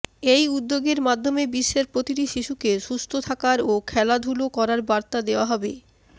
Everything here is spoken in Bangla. এই উদ্যোগের মাধ্যমে বিশ্বের প্রতিটি শিশুকে সুস্থ থাকার ও খেলাধুলো করার বার্তা দেওয়া হবে